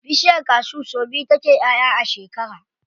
Bishiyar cashew sau biyu take ƴaʼƴa a shekara.